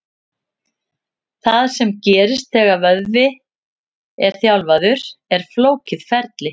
Það sem gerist þegar vöðvi er þjálfaður er flókið ferli.